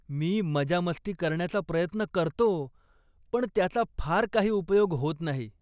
मी मजा मस्ती करण्याचा प्रयत्न करतो, पण त्याचा फार काही उपयोग होत नाही.